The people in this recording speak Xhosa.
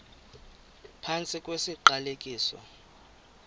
phantsi kwesi siqalekiso